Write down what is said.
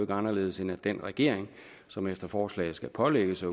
anderledes end at den regering som efter forslaget skal pålægges